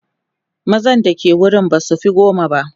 mazan da ke wurin basufi goma ba